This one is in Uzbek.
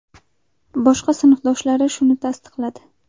Boshqa sinfdoshlari shuni tasdiqladi.